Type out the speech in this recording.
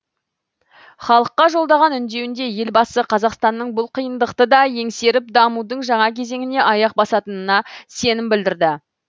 халыққа жолдаған үндеуінде елбасы қазақстанның бұл қиындықты да еңсеріп дамудың жаңа кезеңіне аяқ басатынына сенім білдірді